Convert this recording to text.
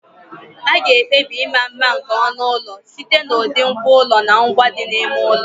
A ga-ekpebi ịma mma nke onu ụlọ site n'ụdị ngwá ụlọ na ngwa ndị dị n'ime ụlọ.